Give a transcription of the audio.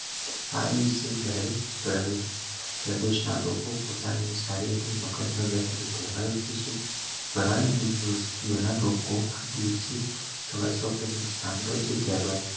આ દિવસે દરેક હરે પ્રદેશ ના લોકો પોતાની મકર સંક્રાંતિ તહેવાર ઉજવીયે છીયે ગાન દિવસ ગાના લોગો એ દિવસે સવારે સૌ પ્રથમ